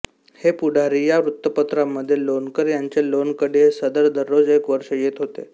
दै पुढारी या वृत्तपत्रामध्ये लोणकर यांचे लोणकढी हे सदर दररोज एक वर्ष येत होते